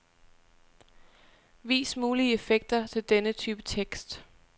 Vis mulige effekter til denne type tekst.